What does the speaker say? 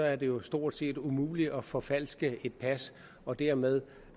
er det jo stort set umuligt at forfalske et pas og dermed